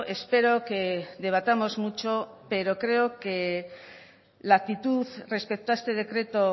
espero que debatamos mucho pero creo que la actitud respecto a este decreto